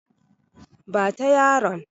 Ba ta yaron!